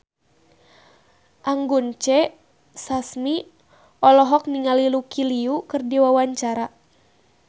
Anggun C. Sasmi olohok ningali Lucy Liu keur diwawancara